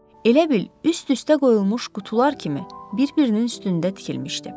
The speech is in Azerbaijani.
Elə bil, üst-üstə qoyulmuş qutular kimi bir-birinin üstündə tikilmişdi.